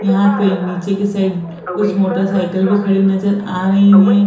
यहाँ पे नीचे की साइड कुछ मोटर साईकल भी खड़ी नजर आ रही हैं।